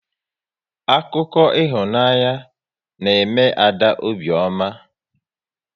Akụkọ ịhụnanya na eme Ada obiọma